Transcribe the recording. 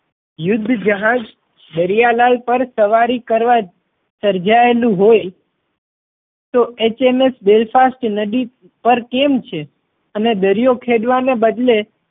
યુદ્ધ જહાજ દરિયા લાલ પર સવારી કરવા સર્જાયેલું હોય તો HMS Belfast નદી પર કેમ છે અને દરિયો ખેડવા ને બદલે